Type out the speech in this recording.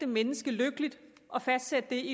menneske lykkeligt og fastsætte det